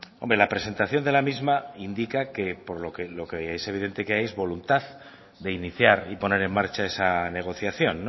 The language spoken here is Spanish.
hombre la presentación de la misma indica que lo que es evidente es que hay es voluntad de iniciar y poner en marcha esa negociación